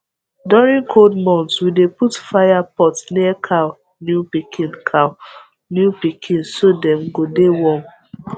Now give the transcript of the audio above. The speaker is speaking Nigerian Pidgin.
during cold month we dey put fire pot near cow new pikin cow new pikin so dem go de warm